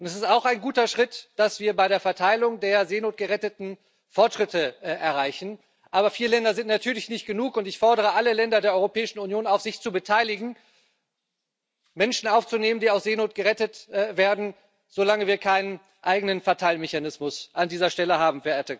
Es ist auch ein guter Schritt, dass wir bei der Verteilung der Seenotgeretteten Fortschritte erreichen, aber vier Länder sind natürlich nicht genug, und ich fordere alle Länder der Europäischen Union auf, sich zu beteiligen, Menschen aufzunehmen, die aus Seenot gerettet werden, solange wir keinen eigenen Verteilmechanismus an dieser Stelle haben.